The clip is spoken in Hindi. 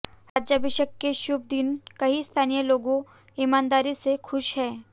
राज्याभिषेक के शुभ दिन कई स्थानीय लोगों ईमानदारी से खुश हैं